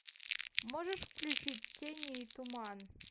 можешь включить тени и туман